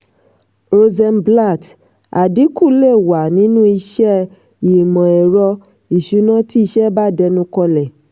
rosenblatt: àdínkú lè wà nínú iṣẹ́ ìmọ̀-ẹ̀rọ ìsúná tí iṣẹ́ bá dẹnu kọlẹ̀.